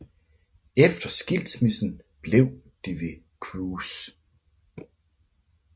Efter skilsmissen blev de ved Cruise